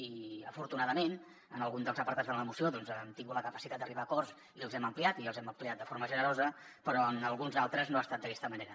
i afortunadament en algun dels apartats de la moció hem tingut la capacitat d’arribar a acords i els hem ampliat i els hem ampliat de forma generosa però en alguns altres no ha estat d’aquesta manera